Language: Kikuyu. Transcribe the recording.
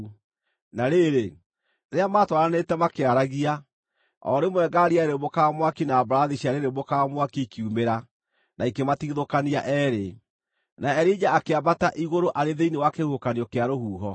Na rĩrĩ, rĩrĩa maatwaranĩte makĩaragia, o rĩmwe ngaari yarĩrĩmbũkaga mwaki na mbarathi ciarĩrĩmbũkaga mwaki ikiumĩra na ikĩmatigithũkania eerĩ, na Elija akĩambata igũrũ arĩ thĩinĩ wa kĩhuhũkanio kĩa rũhuho.